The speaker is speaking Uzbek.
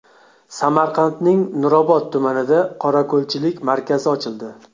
Samarqandning Nurobod tumanida qorako‘lchilik markazi ochildi.